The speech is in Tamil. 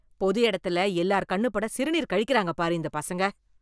பொது எடத்துல எல்லார் கண்ணு பட சிறுநீர் கழிக்குறாங்க பாரு, இந்தப் பசங்க.